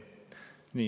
Nii.